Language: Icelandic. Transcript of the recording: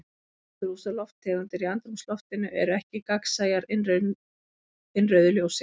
Gróðurhúsalofttegundir í andrúmsloftinu eru ekki gagnsæjar innrauðu ljósi.